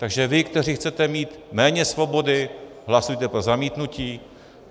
Takže vy, kteří chcete mít méně svobody, hlasujte pro zamítnutí.